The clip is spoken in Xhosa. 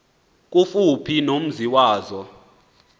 kufuphi nomzi wazo